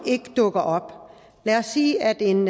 ikke dukker op lad os sige at en